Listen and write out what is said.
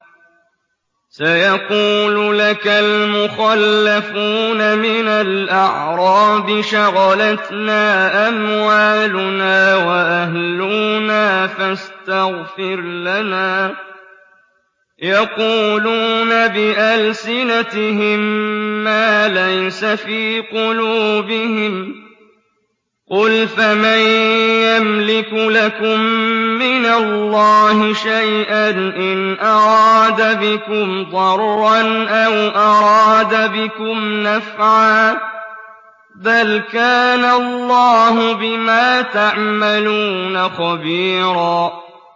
سَيَقُولُ لَكَ الْمُخَلَّفُونَ مِنَ الْأَعْرَابِ شَغَلَتْنَا أَمْوَالُنَا وَأَهْلُونَا فَاسْتَغْفِرْ لَنَا ۚ يَقُولُونَ بِأَلْسِنَتِهِم مَّا لَيْسَ فِي قُلُوبِهِمْ ۚ قُلْ فَمَن يَمْلِكُ لَكُم مِّنَ اللَّهِ شَيْئًا إِنْ أَرَادَ بِكُمْ ضَرًّا أَوْ أَرَادَ بِكُمْ نَفْعًا ۚ بَلْ كَانَ اللَّهُ بِمَا تَعْمَلُونَ خَبِيرًا